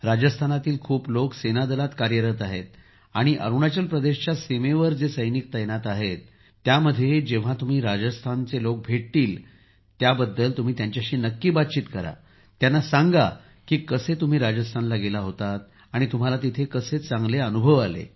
राजस्थानातील खूप लोक सेनादलात कार्यरत आहेत आणि अरुणाचल प्रदेशच्या सीमेवर जे सैनिक तैनात आहेत त्यामध्ये जेव्हा तुम्ही राजस्थानच्या लोक भेटतील तेव्हा तुम्ही त्यांच्याशी नक्की बोला त्यांना सांगा की कसे तुम्ही राजस्थानला गेला होतात आणि तुम्हाला तिथे फार चांगला अनुभव आला